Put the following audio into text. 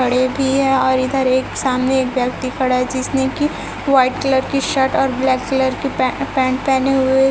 खड़े भी है और इधर एक सामने एक व्यक्ति खड़ा है जिसने की व्हाइट कलर की शर्ट और ब्लैक कलर की पै पैंट पहने हुए --